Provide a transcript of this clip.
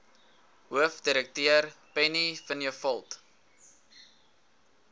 hoofdirekteur penny vinjevold